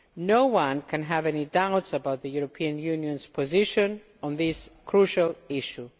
No one can have any doubts about the European Union's position on this crucial issue.